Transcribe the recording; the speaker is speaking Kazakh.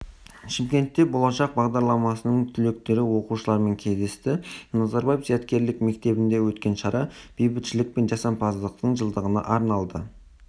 шымкентте болашақ бағдарламасының түлектері оқушылармен кездесті назарбаев зияткерлік мектебінде өткен шара бейбітшілік пен жасампаздықтың жылдығына арналды